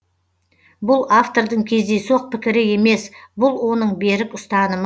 бұл автордың кездейсоқ пікірі емес бұл оның берік ұстанымы